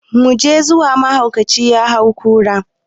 Mu je zuwa, mahaukaci ya hau kura.